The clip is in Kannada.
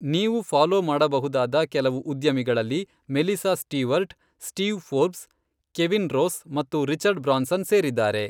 ನೀವು ಫಾಲೋ ಮಾಡಬಹುದಾದ ಕೆಲವು ಉದ್ಯಮಿಗಳಲ್ಲಿ Melissa Stewart, Steve Forbes, Kevin Rose ಮತ್ತು ರಿಚರ್ಡ್ ಬ್ರಾನ್ಸನ್ ಸೇರಿದ್ದಾರೆ.